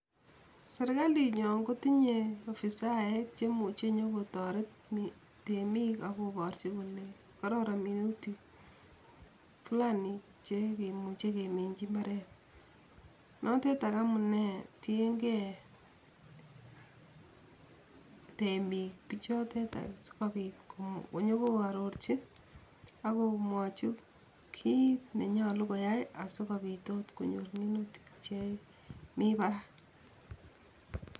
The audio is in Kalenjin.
Serikalinyon kotinye ofisaek chemuche nyokotoret temik akoborji kole kororon minutik flani che kemuche keminji mbaret, notetak amunee tiengee [temik bichotet asikobiit konyokoarorchi akomwochi kiit nenyolu koyai asikobiit ot konyor minutik chemi barak.